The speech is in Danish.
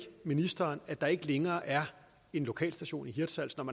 ministeren at der ikke længere er en lokalstation i hirtshals når